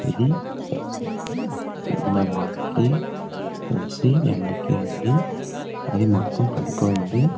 ఇది ఇలా వానికి తడిసి ఎండకి ఎండి అది మొత్తం పడిపోయింది.